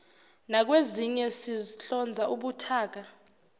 nakwezinye sihlonza ubuthaka